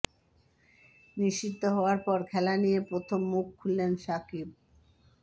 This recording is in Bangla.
নিষিদ্ধ হওয়ার পর খেলা নিয়ে প্রথম মুখ খুললেন সাকিব